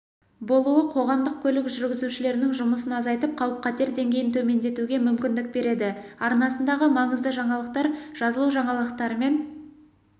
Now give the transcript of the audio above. болуы қоғамдық көлік жүргізушілерінің жұмысын азайтып қауіп-қатер деңгейін төмендетуге мүмкіндік береді арнасындағы маңызды жаңалықтар жазылужаңалықтармен